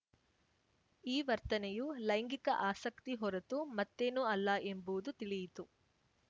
ಈ ವರ್ತನೆಯು ಲೈಂಗಿಕ ಆಸಕ್ತಿ ಹೊರತು ಮತ್ತೇನೂ ಅಲ್ಲ ಎಂಬುವುದು ತಿಳಿಯಿತು